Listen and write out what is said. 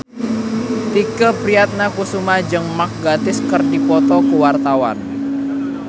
Tike Priatnakusuma jeung Mark Gatiss keur dipoto ku wartawan